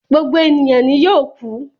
Gbogbo eniyan ni yoo kú